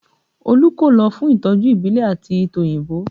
Olú kò lọ fún ìtọ́jú ìbílẹ̀ àti tòyìnbó